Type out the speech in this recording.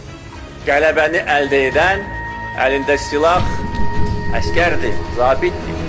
qələbəni əldə edən, əlində silah, əsgərdir, zabitdir.